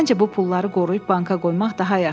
Məncə bu pulları qoruyub banka qoymaq daha yaxşıdır.